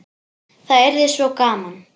Það yrði svo gaman.